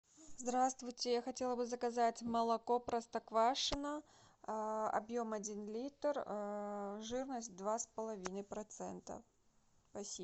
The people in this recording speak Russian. здравствуйте я хотела бы заказать молоко простоквашино объем один литр жирность два с половиной процента спасибо